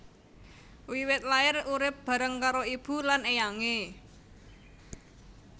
Wiwit lair urip bareng karo ibu lan éyangé